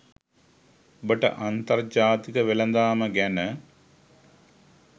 ඔබට අන්තර්ජාතික වෙලදාම ගැන